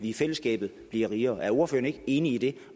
i fællesskabet bliver rigere er ordføreren ikke enig i det